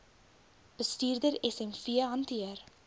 bestuurder smv hanteer